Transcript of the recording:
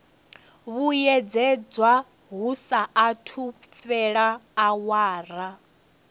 vhuyedzedzwa hu saathu fhela awara